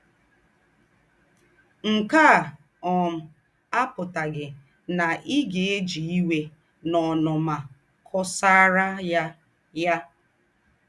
Ǹke à um àpùtàghì ná í gá-èjì íwè ná ònùnmà kọ̀sàrà ya yà.